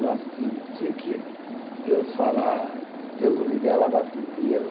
Eu acho que o dia que Deus falar, Deus o livre, ela vá primeiro.